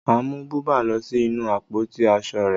Màá mú bùbá lọ sí inú àpótí aṣọ rẹ̀